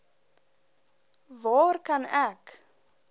waar kan ek